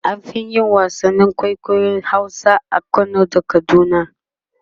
an Fi yin wasannin kwaikwayon Hausa a Kano da kaduna